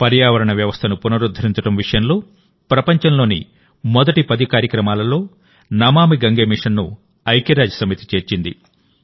పర్యావరణ వ్యవస్థను పునరుద్ధరించడం విషయంలో ప్రపంచంలోని మొదటి పది కార్యక్రమాలలో నమామి గంగే మిషన్ను ఐక్యరాజ్యసమితి చేర్చింది